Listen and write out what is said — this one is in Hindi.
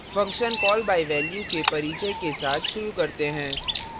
functions call by value के परिचय के साथ शुरू करते हैं